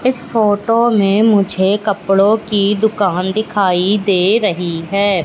इस फोटो में मुझे कपड़ों की दुकान दिखाई दे रही है।